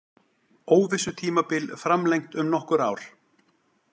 Óvissutímabil framlengt um nokkur ár